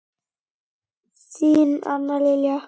Þín Anna Lilja.